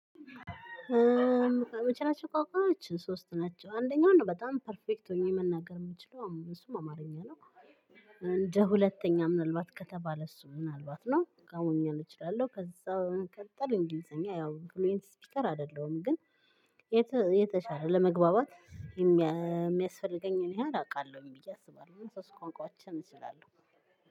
ምችላቸው ቋንቋዎች ሶስት ናቸው አንደኛው በጣም ፐርፌክት ሆኜ መናገር የምችለው እሱም አማርኛ ነው። እንደ ሁለተኛ ምናልባት ከተባለ እሱ ምናልባት ነው ጋውኛ እችላለሁ። ከዛ በመቀጠል እንግሊዘኛ ያው ፍሉዌንት ስፒከር አይደለሁም ግን የተሻለ ለመግባባት የሚያስፈልገኝን ያህል አቃለሁኝ ብዬ አስባለሁ። ሶስት ቋንቋዎችን እችላለሁ።